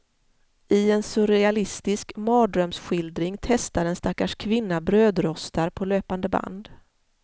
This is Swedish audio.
I en surrealistisk mardrömsskildring testar en stackars kvinna brödrostar på löpande band.